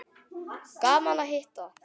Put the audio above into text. Gaman að hitta